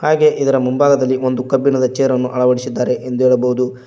ಹಾಗೆ ಇದರ ಮುಂಭಾಗದಲ್ಲಿ ಒಂದು ಕಬ್ಬಿಣದ ಚೇರನ್ನು ಅಳವಡಿಸಿದ್ದಾರೆ ಎಂದು ಹೇಳಬಹುದು.